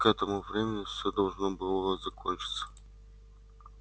к этому времени всё должно было закончиться